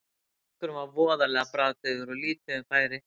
Leikurinn var voðalega bragðdaufur og lítið um færi.